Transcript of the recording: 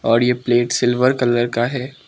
और ये plate silver colour का है।